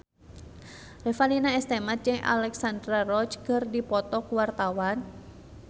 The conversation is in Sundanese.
Revalina S. Temat jeung Alexandra Roach keur dipoto ku wartawan